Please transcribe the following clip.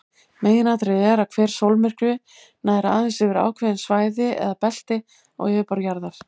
Meginatriðið er að hver sólmyrkvi nær aðeins yfir ákveðið svæði eða belti á yfirborði jarðar.